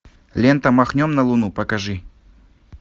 лента махнем на луну покажи